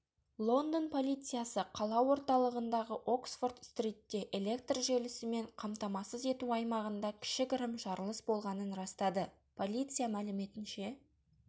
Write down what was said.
лондон полициясы қала орталығындағы оксфорд-стритте электр желісімен қамтамасыз ету аймағында кішігірім жарылыс болғанын растады полиция мәліметінше